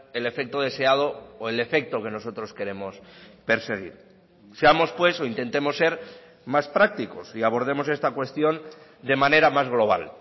el efecto deseado o el efecto que nosotros queremos perseguir seamos pues o intentemos ser más prácticos y abordemos esta cuestión de manera más global